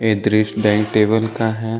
दृश dine table का है।